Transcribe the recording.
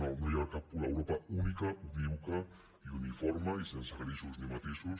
no hi ha cap europa única unívoca i uniforme i sense grisos ni matisos